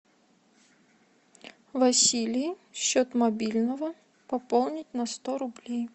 василий счет мобильного пополнить на сто рублей